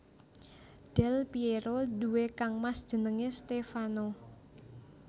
Del Pièro duwé kangmas jenengé Stèfano